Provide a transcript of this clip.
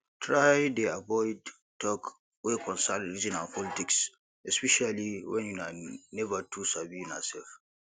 try dey avoid talk wey concern religion and politics especially when una never too sabi una self